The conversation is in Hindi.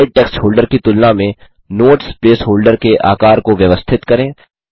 स्लाइड टेक्स्ट होल्डर की तुलना में नोट्स प्लेस होल्डर के आकार को व्यवस्थित करें